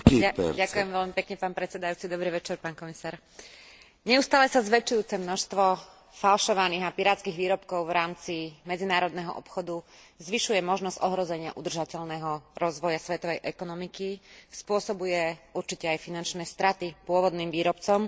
Neustále sa zväčšujúce množstvo falšovaných a pirátskych výrobkov v rámci medzinárodného obchodu zvyšuje možnosť ohrozenia udržateľného rozvoja svetovej ekonomiky, spôsobuje určite aj finančné straty pôvodným výrobcom, rovnako ako aj zásahy do práv duševného vlastníctva autorov